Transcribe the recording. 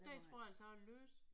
Det tror jeg altså jeg læste